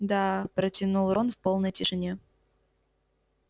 да протянул рон в полной тишине